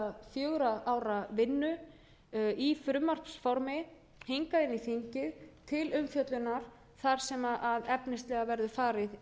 fjögurra ára vinnu i frumvarpsformi hingað inn í þingið til umfjöllunar þar sem efnislega verður farið